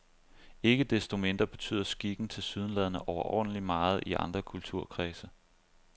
Ikke desto mindre betyder skikken tilsyneladende overordentlig meget i andre kulturkredse.